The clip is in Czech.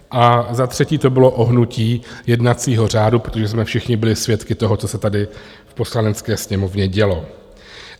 A za třetí to bylo ohnutí jednacího řádu, protože jsme všichni byli svědky toho, co se tady v Poslanecké sněmovně dělo.